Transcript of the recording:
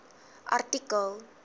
artikel